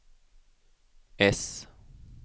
äss